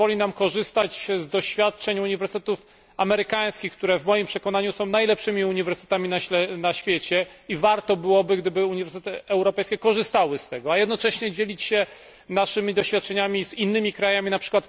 To pozwoli nam korzystać z doświadczeń uniwersytetów amerykańskich, które w moim przekonaniu są najlepszymi uniwersytetami na świecie i warto byłoby, gdyby uniwersytety korzystały z tego, a jednocześnie dzielić się naszymi doświadczeniami z innymi krajami, np.